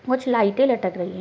कुछ लाइटे लटक रही है।